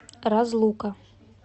разлука